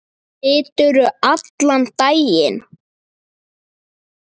Siturðu allan daginn?